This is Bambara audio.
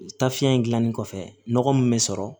Taafiɲɛ in gilannen kɔfɛ nɔgɔ mun be sɔrɔ